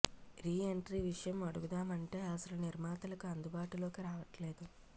re entry విషయం అడుగుదామంటే అసలు నిర్మాతలకు అందుబాటులోకి రావట్లేదు